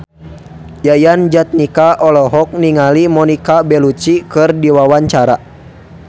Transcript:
Yayan Jatnika olohok ningali Monica Belluci keur diwawancara